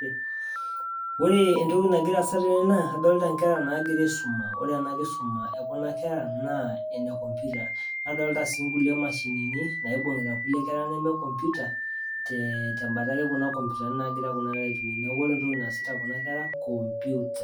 Oree entoki nagiraa aasa tene naa adolita inkera naagira aisuma ore ena kisuma ekuna kera naa ene computer nadolita sii inkulie mashinini naibung'ita kulie kera nemee computer tembata ake kuna computani naagira kuna kera aitumia neeku ore entoki naasita kuna kera naa computer